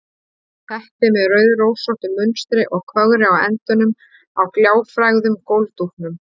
Teppi með rauðrósóttu munstri og kögri á endunum á gljáfægðum gólfdúknum.